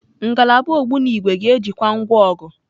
Ngalaba ogbunigwe ga-ejikwa ngwa ọgụ.